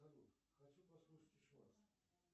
салют хочу послушать еще раз